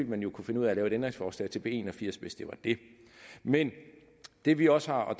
man jo kunne finde ud af at lave et ændringsforslag til b en og firs hvis det var det men det vi også har og